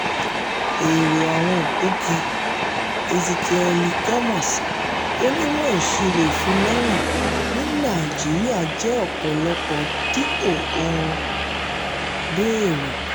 èrò àwọn ògbógi: ezekiẹ́lì gomos onímọ̀ ìṣòro ìfilọ́wọ̀n ní naijiría jẹ́ ọ̀pọ̀lọpọ̀ dípò ohun béèrè.